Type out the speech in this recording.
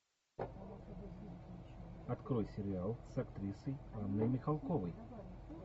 открой сериал с актрисой анной михалковой